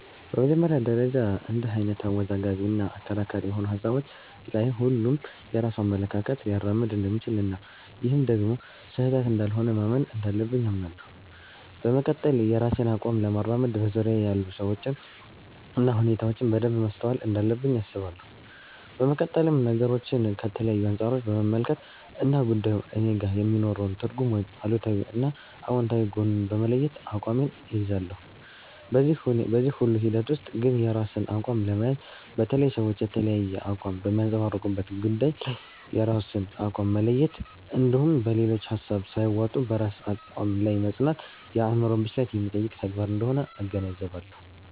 በመጀመሪያ ደረጃ እንድህ አይነት አወዛጋቢ እና አከራካሪ የሆኑ ሀሳቦች ላይ ሁሉም የራሱን አመለካከት ሊያራምድ እንደሚችል እና ይህም ደግሞ ስህተት እንዳልሆነ ማመን እንዳለብኝ አምናለሁ። በመቀጠል የራሴን አቋም ለማራመድ በዙርያየ ያሉ ሰዎችን እና ሁኔታዎችን በደንብ ማስተዋል እንዳለብኝ አስባለሁ። በመቀጠልም ነገሮችን ከተለያዩ አንፃሮች በመመልከት እና ጉዳዩ እኔጋ የሚኖረውን ትርጉም ወይም አሉታዊ እና አውንታዊ ጎኑን በመለየት አቋሜን እይዛለሁ። በዚህ ሁሉ ሂደት ውስጥ ግን የራስን አቋም ለመያዝ፣ በተለይ ሰዎች የተለያየ አቋም በሚያንፀባርቁበት ጉዳይ ላይ የራስን አቋም መለየት እንድሁም በሌሎች ሀሳብ ሳይዋጡ በራስ አቋም ላይ መፅናት የአዕምሮ ብስለት የሚጠይቅ ተግባር አንደሆነ እገነዘባለሁ።